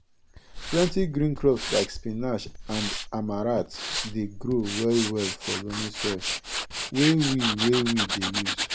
plenti green crops like spinach and amaranth dey grow well well for loamy soil wey we wey we dey use